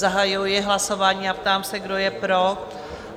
Zahajuji hlasování a ptám se, kdo je pro?